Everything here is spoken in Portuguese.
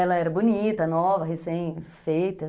Ela era bonita, nova, recém-feita.